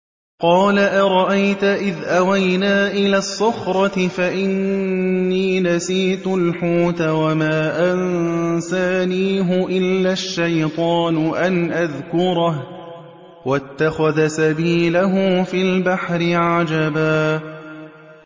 قَالَ أَرَأَيْتَ إِذْ أَوَيْنَا إِلَى الصَّخْرَةِ فَإِنِّي نَسِيتُ الْحُوتَ وَمَا أَنسَانِيهُ إِلَّا الشَّيْطَانُ أَنْ أَذْكُرَهُ ۚ وَاتَّخَذَ سَبِيلَهُ فِي الْبَحْرِ عَجَبًا